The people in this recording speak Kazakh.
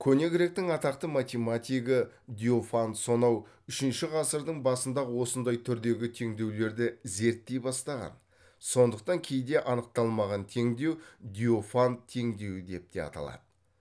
көне гректің атақты математигі диофант сонау үшінші ғысырдың басында ақ осындай түрдегі теңдеулерді зерттей бастаған сондықтан кейде анықталмаған теңдеу диофант теңдеуі деп те аталады